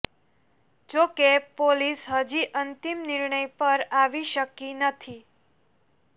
જોકે પોલીસ હજી અંતિમ નિર્ણય પર આવી શકી નથી